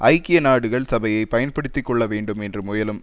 ஐக்கிய நாடுகள் சபையை பயன்படுத்தி கொள்ள வேண்டும் என்று முயலும்